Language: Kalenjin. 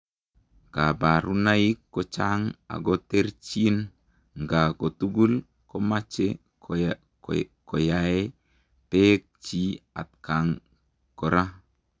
Kabarunaik ko chaang ako terterchin ngaa kotugul komachee koyae peek chii atkaang koraa